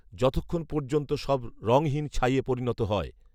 যতক্ষণ পর্যন্ত সব রঙহীন ছাইয়ে পরিণত হয়